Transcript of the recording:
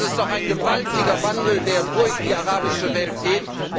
Das ist doch ein gewaltiger Wandel, der durch die arabische Welt geht.